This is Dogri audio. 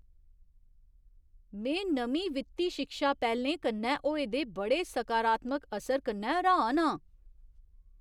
में नमीं वित्ती शिक्षा पैह्‌लें कन्नै होए दे बड़े सकारात्मक असर कन्नै हैरान आं।